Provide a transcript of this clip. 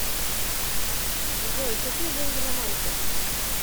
джой какие деньги на мальте